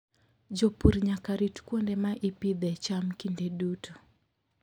Jopur nyaka rit kuonde ma ipidhee cham kinde duto.